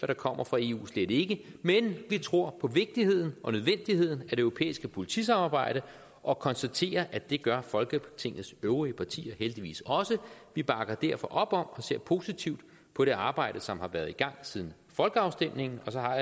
der kommer fra eu slet ikke men vi tror på vigtigheden og nødvendigheden af det europæiske politisamarbejde og konstaterer at det gør folketingets øvrige partier heldigvis også vi bakker derfor op om og ser positivt på det arbejde som har været i gang siden folkeafstemningen så har